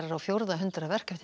á fjórða hundrað verk eftir